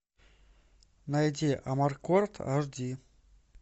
найди амаркорд аш ди